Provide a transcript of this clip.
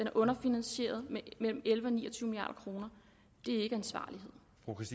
er underfinansieret med mellem elleve og ni og tyve milliard kroner det er ikke ansvarlighed